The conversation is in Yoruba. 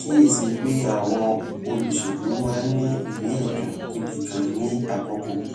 kíyè sí i pé àwọn olùṣèlú máa ń ní ìmí èdùn tó le ganan ní àkókò